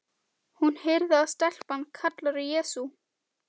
Hún heyrir að stelpan kallar á Jesú.